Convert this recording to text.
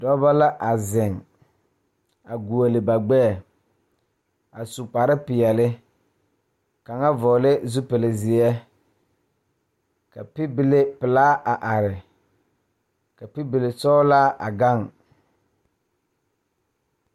Dɔɔba ne pɔgeba la kaa dɔɔ kaŋa a are a su kpare pelaa kaa Yiri a die dankyini are kaa kolbaare a dɔgle tabol a gan.